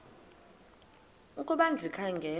ukuba ndikha ngela